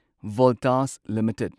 Voltas limited